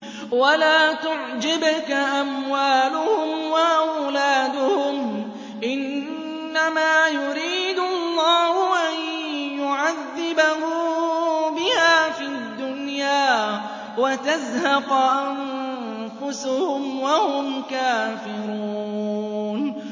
وَلَا تُعْجِبْكَ أَمْوَالُهُمْ وَأَوْلَادُهُمْ ۚ إِنَّمَا يُرِيدُ اللَّهُ أَن يُعَذِّبَهُم بِهَا فِي الدُّنْيَا وَتَزْهَقَ أَنفُسُهُمْ وَهُمْ كَافِرُونَ